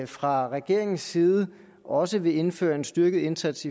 fra regeringens side også vil indføre en styrket indsats